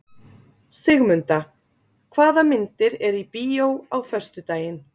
Sigmunda, hvaða myndir eru í bíó á föstudaginn?